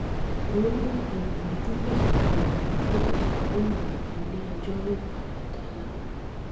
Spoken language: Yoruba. royal obìnrin tó fẹsùn kan bàbá ìjẹ̀sà lóun níléẹjọ́ yóò padà dá láre